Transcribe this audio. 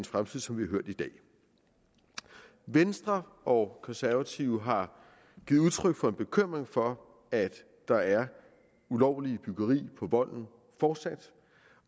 fremtid som vi har hørt i dag venstre og konservative har givet udtryk for en bekymring for at der er ulovligt byggeri på volden fortsat